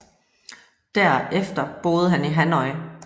Der efter boede han i Hanoi